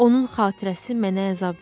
Onun xatirəsi mənə əzab verir.